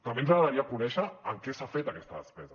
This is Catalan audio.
també ens agradaria conèixer en què s’ha fet aquesta despesa